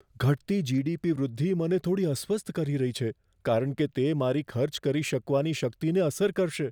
ઘટતી જી.ડી.પી. વૃદ્ધિ મને થોડી અસ્વસ્થ કરી રહી છે, કારણ કે તે મારી ખર્ચ કરી શકવાની શક્તિને અસર કરશે.